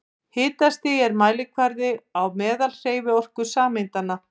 Hitastig er mælikvarði á meðalhreyfiorku sameinda.